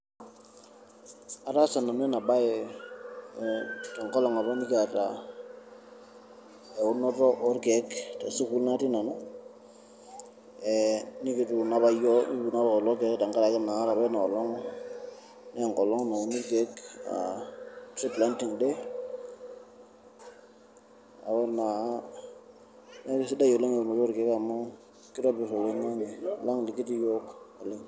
Ataasa nanu ena baye tenkolong' apa nekiata eunoto orkeek te sukuul natii nanu, ee nekituuno apa yiok nekituuno apa lelo keek tenkaraki naa ore apa ina olong' nee enkolong' nauni irkeek aa tree planting day. Neeku naa neeku sidai oleng' eunoto orkeek amu kitobir oloing'ang'e lang' lekitii iyiok oleng'.